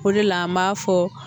O de la an b'a fɔ